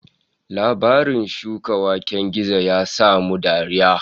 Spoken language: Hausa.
Labarin shukan waken gizo ya sa mu dariya